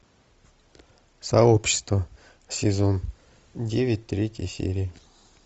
сообщество сезон девять третья серия